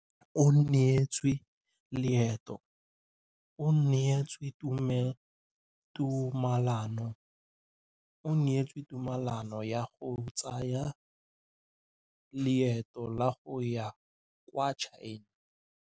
O neetswe tumalanô ya go tsaya loetô la go ya kwa China.